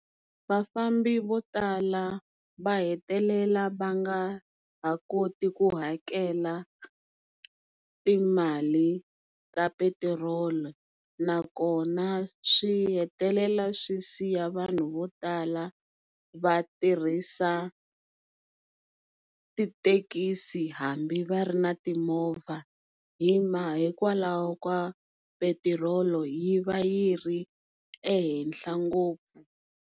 vafambi vo tala va hetelela va nga ha koti ku hakela timali ta petirolo nakona swi hetelela swi siya vanhu vo tala va tirhisa tithekisi hambi va ri ni timovha hikwalaho ka petirolo yi va yi ri ehenhla ngopfu.